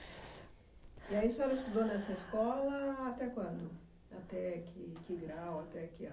E aí a senhora estudou nessa escola até quando? Até que que grau, até que ano?